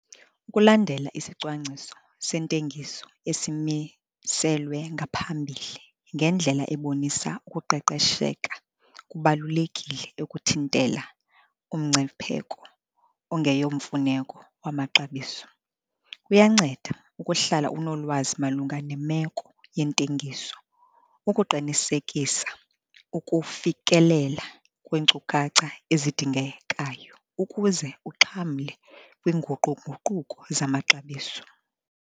Ukulandela isicwangciso sentengiso esimiselwe kwangaphambili ngendlela ebonisa ukuqeqesheka kubalulekile ukuthintela umngcipheko ongeyomfuneko wamaxabiso. Kuyanceda ukuhlala unolwazi malunga nemeko yentengiso ukuqinisekisa ukufikelela kwiinkcukacha ezidingekayo ukuze uxhamle kwiinguqu-nguquko zamaxabiso.